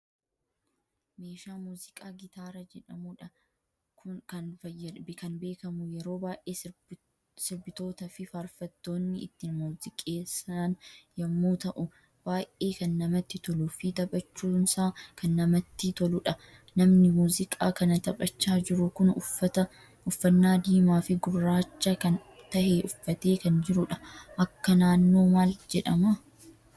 Meeshaa muziqaa gitaara jedhamuudhan kan beekamu yeroo baay'ee sirbitootaa fi farfaattoonni ittin muziqeessaan yemmuu ta'u, baay'ee kan namatti tolu fi taphaachuunsa kan namatti toludha. Namni muziqaa kana taphaacha jiru kun uffaanna diimaa fi gurracha kan tahe uffate kan jirudha. Akka naannoo maal jedhama?